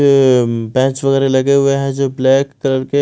bench वगैरा लगे हुए हैं जो ब्लैक कलर के--